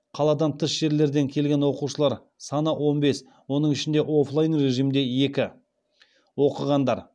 қаладан тыс жерлерден келген оқушылар саны он бес оның ішінде оффлайн режимде екі оқығандар